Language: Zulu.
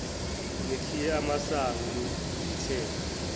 nikhiye amasango ngithenge